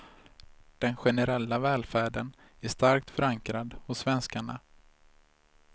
Den generella välfärden är starkt förankrad hos svenskarna.